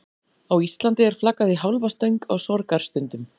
Á Íslandi er flaggað í hálfa stöng á sorgarstundum.